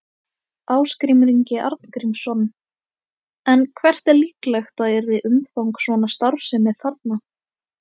Ásgrímur Ingi Arngrímsson: En hvert er líklegt að yrði umfang svona starfsemi þarna?